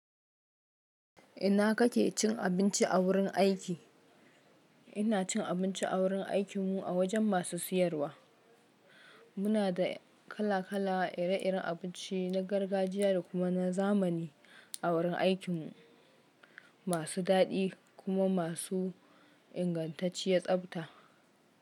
Ina kake cin abinci a wurin aiki? Ina cin abinci a wurin aikinmu a wajen masu siyarwa. Muna da kala kala ire iren abinci na gargajiya da kuma na zamani a wurin aikinmu, masu daɗi kuma masu ingantacciyar tsabta.